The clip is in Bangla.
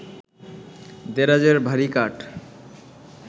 দেরাজের ভারি কাঠ